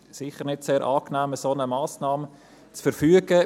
Eine solche Massnahme zu verfügen, ist sicher nicht sehr angenehm.